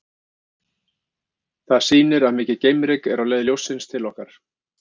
Það sýnir að mikið geimryk er á leið ljóssins til okkar.